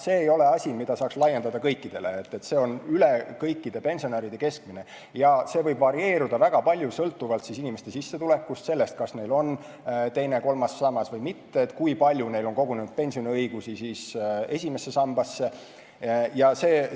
See ei ole asi, mida saaks laiendada kõikidele, see on üle kõikide pensionäride keskmine ja võib varieeruda väga palju, sõltuvalt inimeste sissetulekust, sellest, kas neil on teine ja kolmas sammas või mitte, kui palju neil on kogunenud pensioniõigusi esimesse sambasse jne.